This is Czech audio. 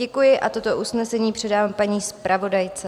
Děkuji a toto usnesení předávám paní zpravodajce.